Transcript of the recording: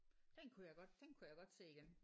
Den kunne jeg godt den kunne jeg godt se igen